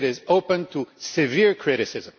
It is open to severe criticism.